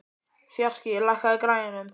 Fjarki, lækkaðu í græjunum.